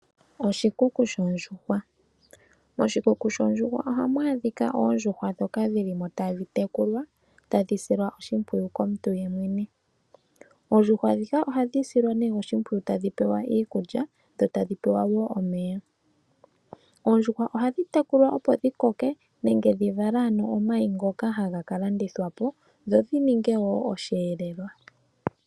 Oshikuku shoondjuhwa, moshikuku shondjuhwa ohamu adhika oondjuhwa dhoka dhili mo tadhi tekulwa tadhi silwa oshimpwiyu okmuntu yemwene. Oondjuhwa dhika ohadhi silwa ne oshimbpwiyu tadhi pewa iikulya dho tadhi pewa wo yemomeya. Oondjuhwa ohadhi tekulwa opo dhi koke nengedhi vale ano omayi ngoka haga landithwa po, dho dhininge wo oshiyelelwa.